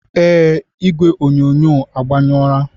Ee, igwe onyonyo agbanyụrụ.